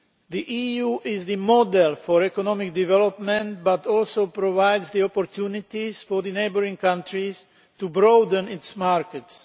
The EU is the model for economic development but also provides the opportunities for neighbouring countries to broaden their markets.